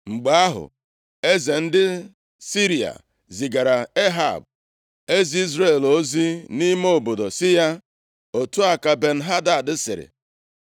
Mgbe ahụ, eze ndị Siria zigaara Ehab, eze Izrel ozi nʼime obodo sị ya, “otu a ka Ben-Hadad sịrị,